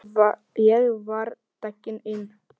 Ég var tekinn inn.